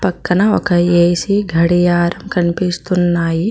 పక్కన ఒక ఏ_సి గడియారం కనిపిస్తున్నాయి.